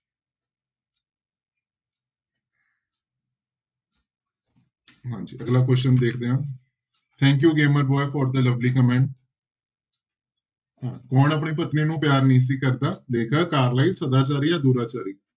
ਹਾਂਜੀ ਅਗਲਾ question ਦੇਖਦੇ ਹਾਂ thank you for the lovely comment ਹਾਂ ਕੌਣ ਆਪਣੀ ਪਤਨੀ ਨੂੰ ਪਿਆਰ ਨਹੀਂ ਸੀ ਕਰਦਾ, ਲੇਖਕ ਕਾਰਲਾਈਲ, ਸਦਾਚਾਰੀ ਜਾਂ ਦੁਰਾਚਾਰੀ